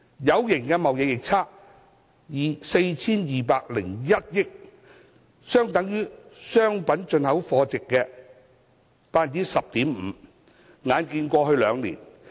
有形貿易逆差達 4,201 億元，相當於商品進口貨值的 10.5%。